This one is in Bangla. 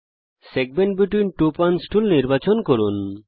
segment between two points tool নির্বাচন করুন